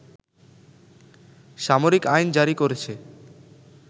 সামরিক আইন জারি করেছে